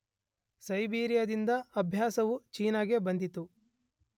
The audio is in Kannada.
ಸೈಬೀರಿಯಾದಿಂದ ಅಭ್ಯಾಸವು ಚೀನಾಗೆ ಬಂದಿತು